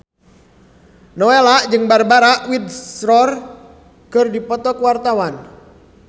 Nowela jeung Barbara Windsor keur dipoto ku wartawan